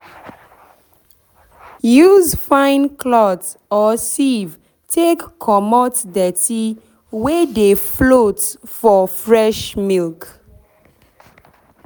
use fine cloth or sieve take comot dirty wey dey float for fresh milk.